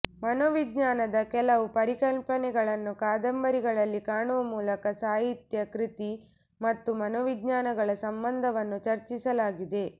ಮನೋವಿಜ್ಞಾನದ ಕೆಲವು ಪರಿಕಲ್ಪನೆಗಳನ್ನು ಕಾದಂಬರಿಗಳಲ್ಲಿ ಕಾಣುವ ಮೂಲಕ ಸಾಹಿತ್ಯ ಕೃತಿ ಮತ್ತು ಮನೋವಿಜ್ಞಾನಗಳ ಸಂಬಂಧವನ್ನು ಚರ್ಚಿಸಲಾಗಿದೆ